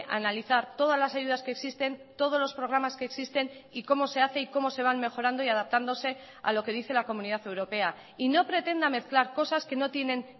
a analizar todas las ayudas que existen todos los programas que existen y cómo se hace y cómo se van mejorando y adaptándose a lo que dice la comunidad europea y no pretenda mezclar cosas que no tienen